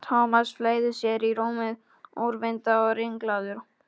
Thomas fleygði sér í rúmið, úrvinda og ringlaður.